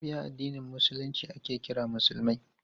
Mabiya addinin Musulunci ake kira musulmai.